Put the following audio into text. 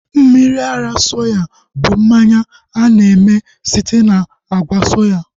Mmiri ara soya bụ mmanya a na-eme site na àgwà soya